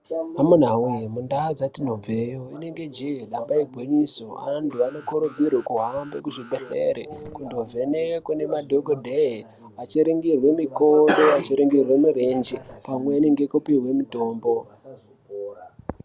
Amunawee mundaa dzatinobveo inenge jee damba igwinyiso anthu anokurudzirwa kuhamba kuzvibhedhlere kundovhenekwe nemadhokodheye achiringirwe mikodo achiringirwe mirenje pamweni ngekupihwe mitombo.